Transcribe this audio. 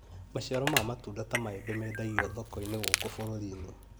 Maciaro ma matunda ta maembe mendagio thoko-inĩ gũkũ bũrũri-inĩ